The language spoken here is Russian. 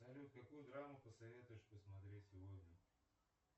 салют какую драму посоветуешь посмотреть сегодня